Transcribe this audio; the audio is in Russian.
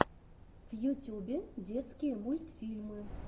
в ютюбе детские мультьфильмы